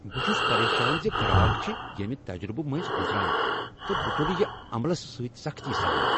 بہٕ چھس پریشان ز گراک چھ ییمِہ تجربہٕ منٛزۍ گزران تہٕ بہٕ تُلہٕ یہ عملس سۭتۍ سختی سان۔